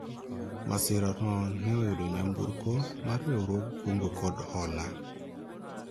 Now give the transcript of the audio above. masira no ne oyudo nyamburko mar riwruog kungo kod hola